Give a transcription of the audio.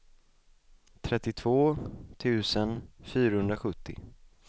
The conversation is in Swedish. trettiotvå tusen fyrahundrasjuttio